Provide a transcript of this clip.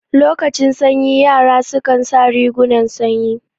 Lokacin sanyi yara su kan sa rigunan sanyi